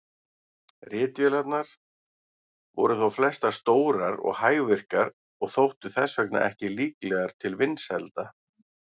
Ritvélarnar voru þó flestar stórar og hægvirkar og þóttu þess vegna ekki líklegar til vinsælda.